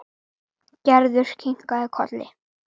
Gerður kinkaði kolli.